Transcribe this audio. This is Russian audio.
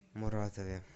муратове